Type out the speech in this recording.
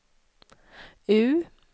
U